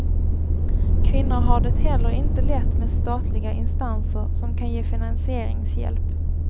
Kvinnor har det heller inte lätt med statliga instanser som kan ge finansieringshjälp.